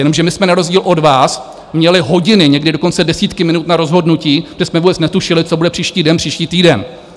Jenomže my jsme na rozdíl od vás měli hodiny, někdy dokonce desítky minut na rozhodnutí, kde jsme vůbec netušili, co bude příští den, příští týden.